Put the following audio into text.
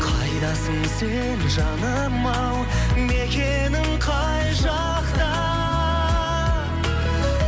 қайдасың сен жаным ау мекенің қай жақта